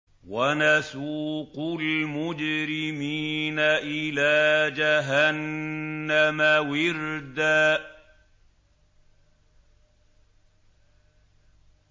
وَنَسُوقُ الْمُجْرِمِينَ إِلَىٰ جَهَنَّمَ وِرْدًا